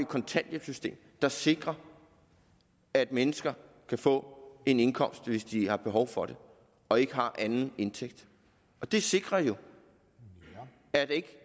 kontanthjælpssystem der sikrer at mennesker kan få en indkomst hvis de har behov for det og ikke har anden indtægt og det sikrer jo at der ikke